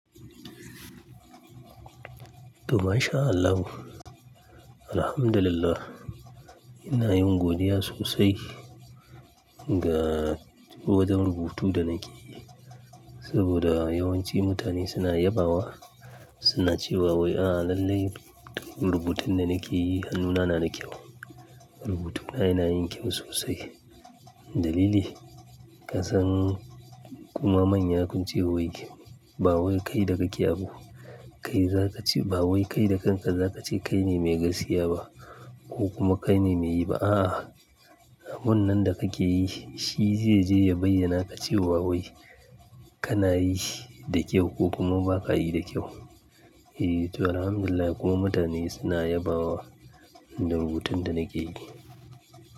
To masha Allahu Alhamdulillah, ina yin godiya sosai a wajen rubutu da nake yi. Saboda yawanci mutane suna yabawa, suna cewa "Wai a lallai rubutun da nake yi hannuna na da kyau. Rubutuna yanayin kyau sosai." Dalili, ka san kuma manya kun ce wai ba wai kai da ka ke abu. Kai za ka ce ba wai kai da kanka za ka ce kai ne mai gaskiya ba ko kuma kai ne mai yi ba. A'a, abun nan da kake yi shi zai je ya bayyana ka cewa wai kana yi da kyau ko kuma ba ka yi da kyau. Eh, to alhamdulillah kuma mutane suna yabawa da rubutun da nake yi.